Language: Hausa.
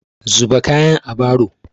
Zuba kayan a baro!